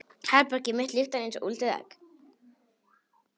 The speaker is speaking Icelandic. Herbergið mitt lyktar einsog úldið egg.